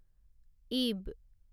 ইব